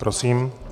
Prosím.